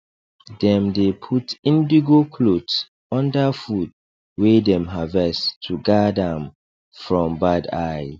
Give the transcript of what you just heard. dem dey put indigo cloth under food wey dem harvest to guard am from bad eye